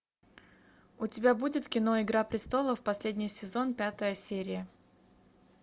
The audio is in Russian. у тебя будет кино игра престолов последний сезон пятая серия